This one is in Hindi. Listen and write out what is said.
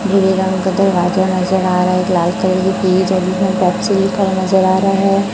नीले रंग का दरवाजा नजर आ रहा है एक लाइट कलर की पीली पेप्सी लिख हुआ नजर आ रहा है।